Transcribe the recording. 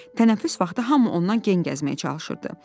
Tənəffüs vaxtı hamı ondan gen gəzməyə çalışırdı.